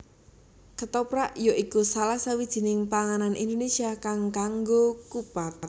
Ketoprak ya iku salah sawijining panganan Indonésia kang ngaggo kupat